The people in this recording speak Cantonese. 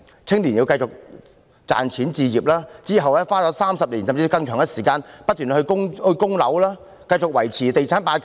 青年人須繼續賺錢置業，之後花上30年，甚至更長的時間來不斷供樓，繼續維持"地產霸權"。